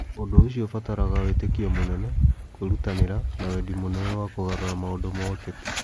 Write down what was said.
Ũndũ ũcio ũbataraga wĩtĩkio mũnene, kwĩrutanĩria, na wendi mũnene wa kũgarũra maũndũ ma ũteti.